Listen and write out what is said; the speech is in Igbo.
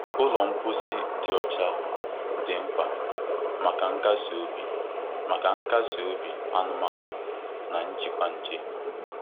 Ụlọ mposi dị ọcha dị mkpa maka nkasi obi maka nkasi obi anụmanụ na njikwa nje.